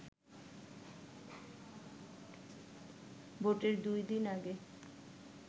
ভোটের দুই দিন আগে